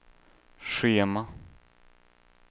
schema